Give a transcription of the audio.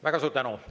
Väga suur tänu!